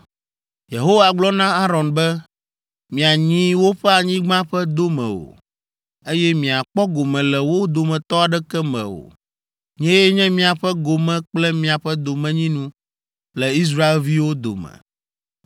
Yehowa gblɔ na Aron be, “Mianyi woƒe anyigba ƒe dome o, eye miakpɔ gome le wo dometɔ aɖeke me o, nyee nye miaƒe gome kple miaƒe domenyinu le Israelviwo dome.